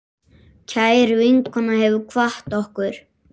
Kær vinkona hefur kvatt okkur.